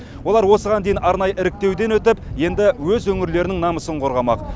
олар осыған дейін арнайы іріктеуден өтіп енді өз өңірлерінің намысын қорғамақ